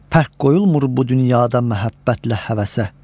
Fərq qoyulmur bu dünyada məhəbbətlə həvəsə.